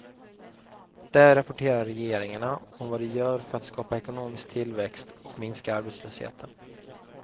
Där rapporterar regeringarna om vad de gör för att skapa ekonomisk tillväxt och minska arbetslösheten.